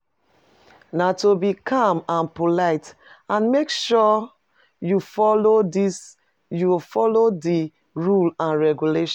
Na to be calm and polite, and make sure you follow di rules and regulations.